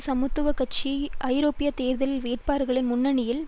சமத்துவ கட்சியின் ஐரோப்பிய தேர்தல் வேட்பாளர்களில் முன்னணியில்